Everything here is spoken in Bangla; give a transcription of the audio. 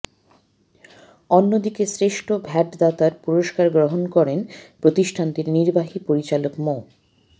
অন্যদিকে শ্রেষ্ঠ ভ্যাটদাতার পুরস্কার গ্রহণ করেন প্রতিষ্ঠানটির নির্বাহী পরিচালক মো